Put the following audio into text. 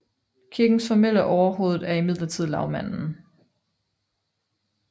Kirkens formelle overhoved er imidlertid Lagmanden